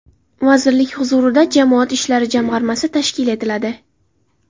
Vazirlik huzurida jamoat ishlari jamg‘armasi tashkil etiladi.